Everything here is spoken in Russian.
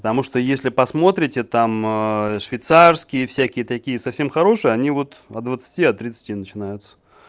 потому что если посмотрите там швейцарские всякие такие совсем хорошие они вот от двадцати от тридцати начинаются